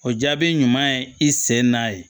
O jaabi ɲuman ye i sen n'a ye